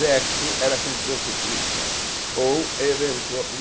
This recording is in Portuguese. Sexo era com prostituta ou